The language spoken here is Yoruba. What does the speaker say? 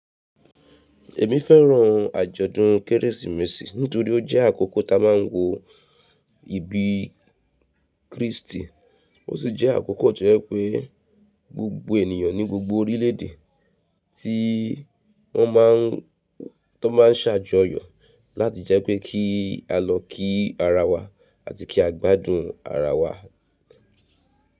Èmi fẹ́ràn àjọ̀dún Kérésìmesì nítorí ó jẹ́ àkókò tí a máa ń wo ìbí Kristì, ó sì jẹ́ àkókò tó jẹ́ pé gbogbo ènìyàn ní gbogbo orílẹ̀ èdè tí wọ́n má a ń, tó má a ń ṣàjọyọ̀ láti jẹ́ pé kí a lọ kí ara wa àti kí á gbádùn ara wa.